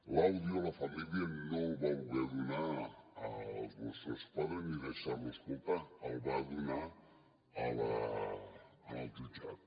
l’àudio la família no el va voler donar als mossos d’esquadra ni deixar lo escoltar el va donar al jutjat